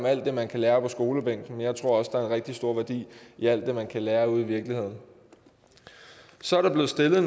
alt det man kan lære på skolebænken jeg tror også der er en rigtig stor værdi i alt det man kan lære ude i virkeligheden så er der blevet stillet